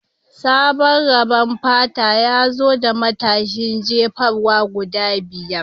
Sabon rabon fata ya zo da matashin jefarwa guda biyar